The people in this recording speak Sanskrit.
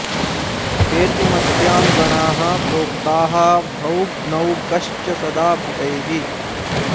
केतुमत्यां गणाः प्रोक्ताः भ्रौ न्गौ गश्च सदा बुधैः